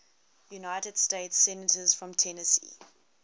united states senators from tennessee